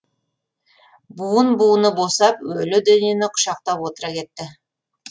буын буыны босап өлі денені құшақтап отыра кетті